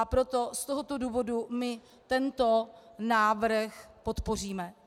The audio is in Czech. A proto z tohoto důvodu my tento návrh podpoříme.